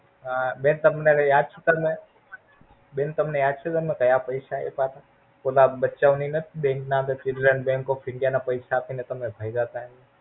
હા બેન તમને ઓલું યાદ છે, તમને બેન તમને યાદ છે? તમને કાયા પૈસા આપા તા. ઓલા બચ્ચાંઓની નથ Bank Bank of India ના પૈસા આપી ને તમે ભાગા તા એનું.